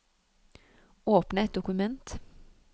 Åpne et dokument